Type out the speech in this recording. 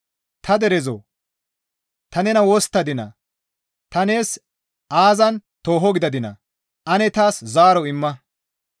Ta derezoo! Ta nena wosttadinaa? Ta nees aazan tooho gidadinaa? Ane taas zaaro imma.